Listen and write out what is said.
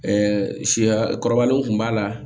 siya kɔrɔbalenw kun b'a la